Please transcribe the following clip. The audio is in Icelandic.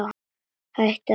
Hún hætti að lesa.